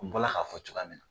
N bɔ la k'a fɔ cogoya min na.